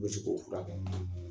I bɛ se k'o fura kɛ